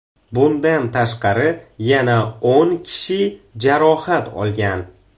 Bundan tashqari, yana o‘n kishi jarohat olgan.